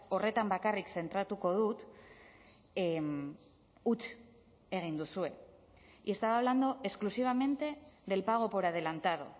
horretan bakarrik zentratuko dut huts egin duzue y estaba hablando exclusivamente del pago por adelantado